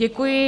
Děkuji.